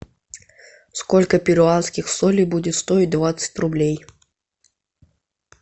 сколько перуанских солей будет стоить двадцать рублей